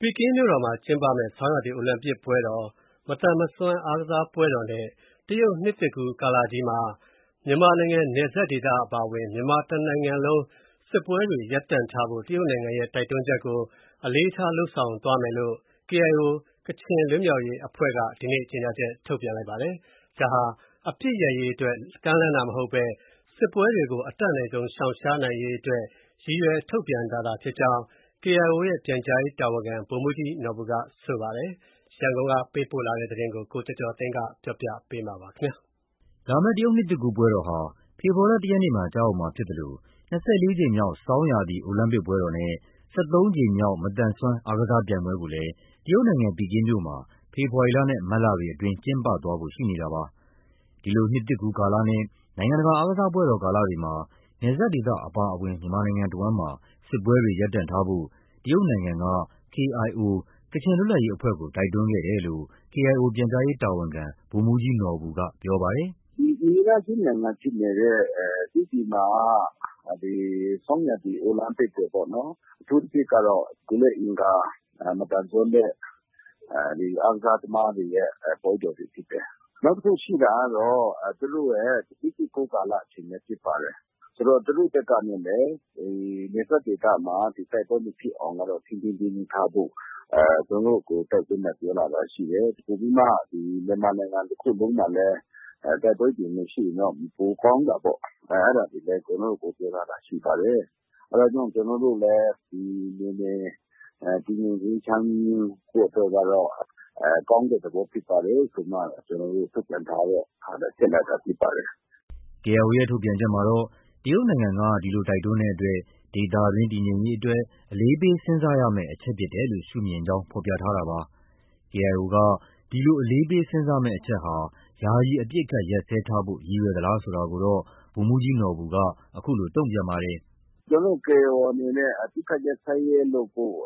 ပီကင်းမြို့တော်မှာ ကျင်းပမယ့် ဆောင်းရာသီအိုလံပစ်ပွဲတော်၊ မသန်စွမ်းအားကစားပွဲတော် နဲ့ တရုတ် နှစ်သစ်ကူးကာလမှာ နယ်စပ်ဒေသအပါအဝင် မြန်မာနိုင်ငံအဝှမ်း စစ်ပွဲတွေ ရပ်တန့်ထားဖို့ တရုတ်နိုင်ငံရဲ့ တိုက်တွန်းချက်ကို အလေးထားသွားမယ်လို့ KIO ဒီနေ့ ကြေညာချက်ထုတ်ပြန်ပါတယ်။ ဒါဟာ အပစ်ရပ်ရေးအတွက် ကမ်းလှမ်းတာမဟုတ်ဘဲ စစ်ပွဲတွေကို အတတ်နိုင်ဆုံးရှောင်ရှားနိုင်ရေးအတွက် ရည်ရွယ်ကြောင်း KIO ရဲ့ ပြန်ကြားရေးတာဝန်ခံက ပြောပါတယ်။ ရန်ကုန်ကရေးသားပေးပို့တဲ့ သတင်းကို ကိုကျော်ကျော်သိန်းပြောပြပါမယ်။ လာမယ့် တရုတ်နှစ်သစ်ကူး ပွဲတော်ဟာ ဖေဖော်ဝါရီလ ၁ရက်နေ့မှာ ကျရောက်မှာဖြစ်သလို ၂၄ ကြိမ်မြောက် ဆောင်းရာသီ အိုလံပစ်ပွဲတော်နဲ့ ၁၃ကြိမ်မြောက် မသန်စွမ်း အားကစားပြိုင်ပွဲကို ကိုလည်း တရုတ်နိုင်ငံ ပီကင်းမြို့မှာ ဖေဖော်ဝါရီလနဲ့ မတ်လတွေအတွင်းမှာ ကျင်းပသွားဖို့ ရှိနေတာပါ။ ဒီလိုနှစ်သစ်ကူးကာလနဲ့ နိုင်ငံတကာ အားကစားပွဲတော်ကာလတွေမှာ နယ်စပ်ဒေသအပါအဝင် မြန်မာနိုင်ငံအဝှမ်းမှာ စစ်ပွဲတွေ ရပ်တန့်ထားဖို့ တရုတ်နိုင်ငံက KIO ကချင်လွတ်လပ်ရေးအဖွဲ့ကို တိုက်တွန်းခဲ့တယ်လို့ KIO ပြန်ကြားရေးတာဝန်ခံ ဗိုလ်မှုးကြီးနော်ဘူက ပြောပါတယ်။ “ အိမ်နီးနားချင်းနိုင်ငံဖြစ်နေတဲ့ တရုတ်နိုင်ငံမှာက ဒီ ဆောင်းရာသီအိုလံပစ်အတွက်ပေါ့နော်။ အထူးသဖြင့်ကတော့ ကိုယ်လက်အင်္ဂါ မသန်စွမ်းတဲ့ အားကစားသမားတွေရဲ့ ပွဲတော်တွေ ဖြစ်တယ်။ နောက်တစ်ခုရှိတာကတော့သူတို့ရဲ့ နှစ်သစ်ကူးကာလ အချိန်လည်း ဖြစ်ပါတယ်။ ဆိုတော့ သူတို့ ဘက်ကနေလည်း နယ်စပ်ဒေသမှာ တိုက်ပွဲမဖြစ်အောင်က ထိန်းထိန်းသိမ်းသိမ်းထားဖို့၊ ကျနော်တို့ကို တိုက်တွန်းတာ ပြောလာတာ ရှိတယ်။ ပိုပြီးမှ မြန်မာနိုင်ငံတစ်ခုလုံးမှာလည်း တိုက်ပွဲတွေ မရှိရင်တော့ ပိုကောင်းတာပေါ့။ အဲဒါတွေ ကျနော်တို့ကို ပြောလာတာတွေ ရှိပါတယ်။ အဲဒါကြောင့် ကျနော်တို့လည်း ဒီ နယ်မြေ တည်ငြိမ် အေးချမ်းဖို့ အတွက်ကတော့ ကောင်းတဲ့ သဘောဖြစ်ပါတယ်ဆိုပြီး ကျနော်တို့ ထုတ်ပြန်ထားတဲ့ဟာထဲ ထည့်လိုက်တာဖြစ်ပါတယ်။ ” KIO ရဲ့ ထုတ်ပြန်ချက်မှာတော့ တရုတ်နိုင်ငံက ဒီလိုတိုက်တွန်းတဲ့အတွက် ဒေသတွင်းတည်ငြိမ်ရေးအတွက် အလေးပေးစဉ်းစားရမယ့် အချက်ဖြစ်တယ်လို့ ရှုမြင်ကြောင်း ဖော်ပြထားတာပါ။ KIO က ဒီလို အလေးပေးစဉ်းစားမယ့်အချက်ဟာ ယာယီအပစ်အခတ် ရပ်စဲထားဖို့ ရည်ရွယ်သလားဆိုတာကိုတော့ ဗိုလ်မှုးကြီးနော်ဘူက အခုလို တုံပြန်ပါတယ်။ “ ကျနော်တို့ KIO အနေနဲ့ အပစ်အခတ် ရပ်စဲရေးလုပ်ဖို့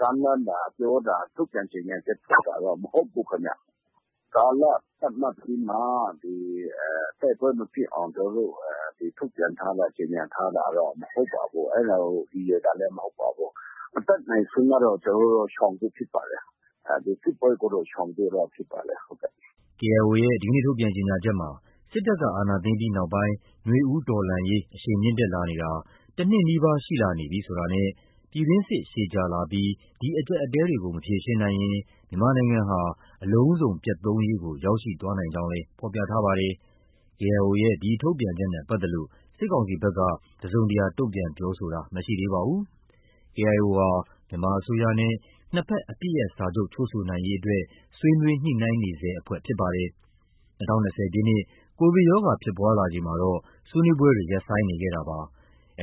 ကမ်းလှမ်းတာ ပြောတာ ထုတ်ပြန်ကြေညာချက် ထုတ်တာ မဟုတ်ဘူးခင်ဗျ။ ကာလသတ်မှတ်ပြီးမှ တိုက်ပွဲမဖြစ်အောင် ကျနော်တို့ ထုတ်ပြန်ထားတာ၊ ကြေညာထားတာ မဟုတ်ပါဘူး။ အဲဒါကို ရည်ရွယ်တာလည်း မဟုတ်ပါဘူး။ အတတ်နိုင်ဆုံးကတော့ ရှောင်ဖို့ ဖြစ်ပါတယ်။ ဒီစစ်ပွဲကိုတော့ ရှောင်ဖို့ ဖြစ်ပါတယ်။ ” ထုတ်ပြန်ကြေညာချက်မှာ စစ်တပ်က အာဏာသိမ်းပြီးနောက်ပိုင်း နွေဦးတော်လှန်ရေးဟာ အရှိန်မြင့်တက်လာနေတာ တနှစ်နီးပါးရှိလာနေပြီဆိုတာနဲ့၊ ပြည်တွင်းစစ်ရှည်ကြာလာပြီး ဒီအကျပ်အတည်းတွေကို မဖြေရှင်းနိုင်ရင် မြန်မာနိုင်ငံဟာ အလုံးစုံပျက်သုဉ်းရေးကို ရောက်ရှိသွားနိုင်ကြောင်းလည်း ဖော်ပြထားပါတယ်။ KIO ရဲ့ ဒီထုတ်ပြန်ချက်နဲ့ပတ်သက်လို့ စစ်ကောင်စီဖက်က တစုံတရာတုန့်ပြန်ပြောဆိုမှုမရှိသေးပါဘူး။ KIO ဟာ မြန်မာအစိုးရနဲ့ နှစ်ဘက်အပစ်ရပ်စာချုပ်ချုပ်ဆိုနိုင်ရေးအတွက် ဆွေးနွေးညှိုနှိုင်းနေဆဲ အဖွဲ့ဖြစ်ပါတယ်။ ၂၀၂၀ခုနှစ် ကိုဗစ်ရောဂါ ဖြစ်ပွားလာချိန်မှာတော့ ဆွေးနွေးပွဲတွေ ရပ်ဆိုင်းနေခဲ့ပါတယ်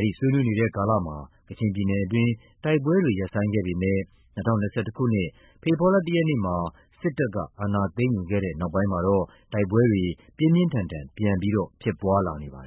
။ ဒီဆွေးနွေးနေတဲ့ ကာလမှာ ကချင်ပြည်နယ်အတွင်း တိုက်ပွဲတွေ ရပ်ဆိုင်းခဲ့ပေမဲ့ ၂၀၂၁ခုနှစ် ဖေဖော်ဝါရီလ ၁ရက်နေ့စစ်တပ်ကအာဏာသိမ်းယူခဲ့တဲ့နောက်မှာတော့ တိုက်ပွဲတွေ ပြင်းပြင်းထန်ထန် ပြန်လည်း ဖြစ်ပွားလာခဲ့ပါတယ်